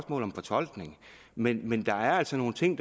om fortolkning men men der er altså nogle ting